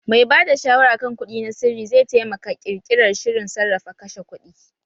Mai ba da shawara kan kuɗi na sirri zai taimaka ƙirƙirar shirin sarrafa kashe kuɗi